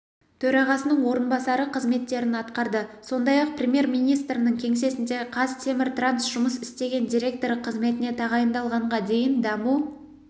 төрағасының орынбасары қызметтерін атқарды сондай-ақ премьер-министрінің кеңсесінде қазтеміртранс жұмыс істеген директоры қызметіне тағайындалғанға дейін даму